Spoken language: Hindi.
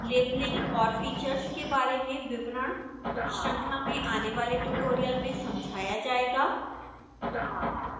लेबलिंग और फीचर्स के बारे में विवरण श्रृंखला में आने वाले ट्यूटोरियल्स में समझाया जाएगा